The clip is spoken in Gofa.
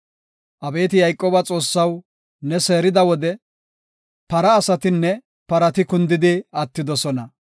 Abeeti Yayqooba Xoossaw, ne seerida wode, para asatinne parati kundidi attidosona.